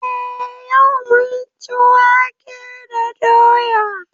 Eh yau mun ci wake da doya.